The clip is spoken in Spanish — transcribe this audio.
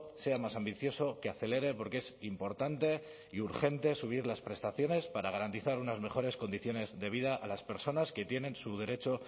sea más ambicioso que acelere porque es importante y urgente subir las prestaciones para garantizar unas mejores condiciones de vida a las personas que tienen su derecho